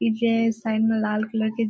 इ जे ए साइड में लाल कलर के --